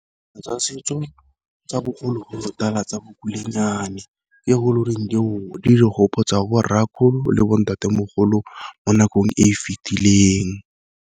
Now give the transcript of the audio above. Ke tsa setso tsa bogologolotala tsa bo kulenyane, di re gopotsa le bo ntatemogolo mo nakong e e fitileng.